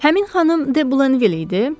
Həmin xanım De Blenville idi?